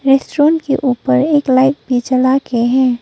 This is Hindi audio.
रेस्टोरेंट के ऊपर एक लाइट भी जला के है।